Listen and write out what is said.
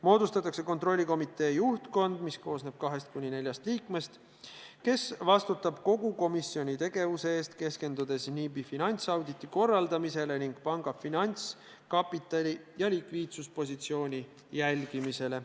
Moodustatakse kontrollikomitee juhtkond, mis koosneb 2–4 liikmest ja vastutab kogu komitee tegevuse eest, keskendudes NIB-i finantsauditi korraldamisele ning panga finantskapitali ja likviidsuspositsiooni jälgimisele.